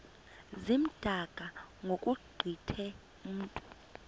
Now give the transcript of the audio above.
zimdaka ngokugqithe mntu